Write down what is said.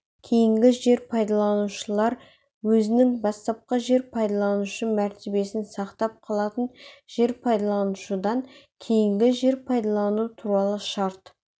кейінгі жер пайдаланушылар өзінің бастапқы жер пайдаланушы мәртебесін сақтап қалатын жер пайдаланушыдан кейінгі жер пайдалану туралы шарт